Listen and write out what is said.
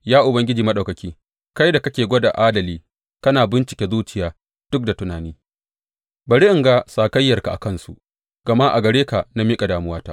Ya Ubangiji Maɗaukaki, kai da kake gwada adali kana bincika zuciya duk da tunani, bari in ga sakayyarka a kansu, gama a gare ka na miƙa damuwata.